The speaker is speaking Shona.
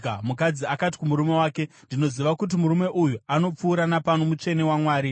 Mukadzi akati kumurume wake, “Ndinoziva kuti murume uyu anopfuura napano, mutsvene waMwari.